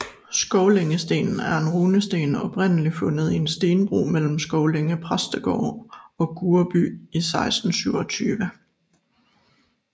Skovlængestenen er en runesten oprindeligt fundet i en stenbro mellem Skovlænge Præstegård og Gurreby i 1627